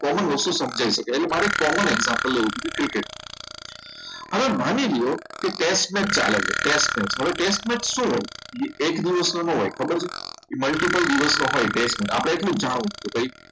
common વસ્તુ સમજી શકે એટલે મારે common example લેવું હોય તો ક્રિકેટ હવે માની લ્યો કે test match ચાલે છે test match હવે test match શું હોય કે એક દિવસનો ન હોય ખબર છે એ multiple દિવસનો હોય test આપણે એટલું જ જાણો છે